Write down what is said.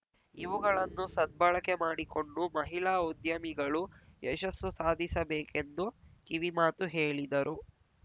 ಇವುಗಳನ್ನು ಸದ್ಬಳಕೆ ಮಾಡಿಕೊಂಡು ಮಹಿಳಾ ಉದ್ಯಮಿಗಳು ಯಶಸ್ಸು ಸಾಧಿಸಬೇಕೆಂದು ಕಿವಿಮಾತು ಹೇಳಿದರು